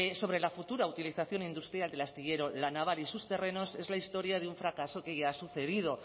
sobre la futura utilización industrial del astillero la naval y sus terrenos es la historia de un fracaso que ya ha sucedido